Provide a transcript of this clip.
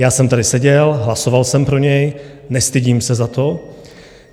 Já jsem tady seděl, hlasoval jsem pro něj, nestydím se za to.